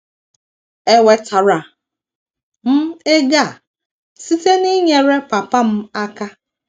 Enwetara m ego a site n’inyere papa m aka.